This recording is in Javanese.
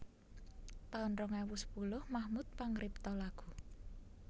taun rong ewu sepuluh Mahmud pangripta lagu